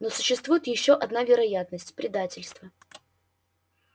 но существует ещё одна вероятность предательство